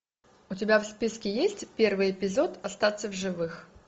у тебя в списке есть первый эпизод остаться в живых